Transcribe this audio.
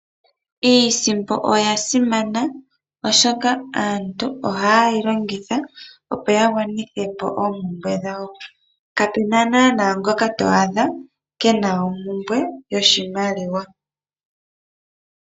Iisimpo oyasimana oshoka aantu ohaye yi longitha, opo ya gwanithe po oompumbwe dhawo kapena naanaa ngoka to adha keena ompumbwe yoshimaliwa.